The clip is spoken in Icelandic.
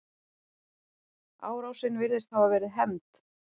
Árásin virðist hafa verið hefnd.